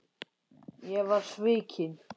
Ég var svikinn